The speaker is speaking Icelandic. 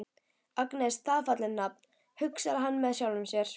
Agnes, það er fallegt nafn, hugsar hann með sjálfum sér.